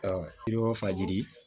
Ɔ i bɛ o fajiri